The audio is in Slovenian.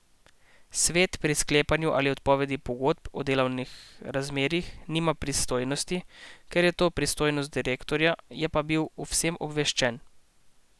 Svet pri sklepanju ali odpovedi pogodb o delovnih razmerjih nima pristojnosti, ker je to pristojnost direktorja, je pa bil o vsem obveščen.